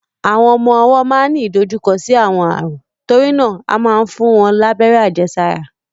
Àwọn ọmọ ọwọ́ máa ń ní ìdojúkọ sí àwọn ààrùn, torí náà a máa ń fún wọn lábẹ́rẹ́ àjẹsára.